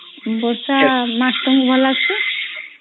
ବର୍ଷା ମାସ୍ ତୁମକୁ ଭଲ ଲାଗଚେ